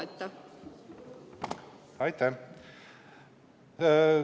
Aitäh!